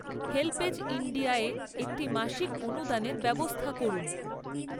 HelpAge ইন্ডিয়ায় একটি মাসিক অনুদানের ব্যবস্থা করুন।